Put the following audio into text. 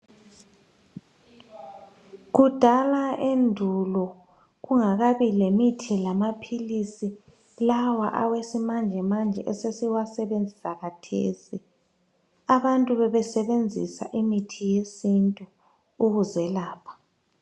Kudala endulo kungakabi lemithi lamaphilisi lawa awesimanjemanje esesiwasebenzisa kathesi abantu bebesebenzisa imithi yesintu ukuzelapha.